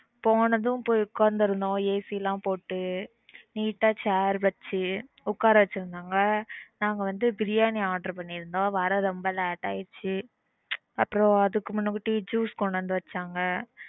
போனதும் பொய் ஒக்காந்திருந்தோம் AC லாம் போட்டு நீட்டா chair வெச்சு உக்கார வெச்சிருந்தாங்க நாங்க வந்து பிரியாணி order பன்னிருந்தோம் வர ரொம்ப late ஆயிடுச்சு அப்புறம் அதுக்கு முன்னாடி juice கொண்டு வந்து வெச்சாங்க